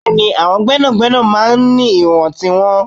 Bẹẹni, àwọn gbẹ́nàgbẹ́nà máa ń ní ìwọ̀n tiwọn.